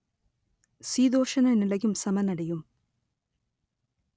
சீதோஷண நிலையும் சமனடையும்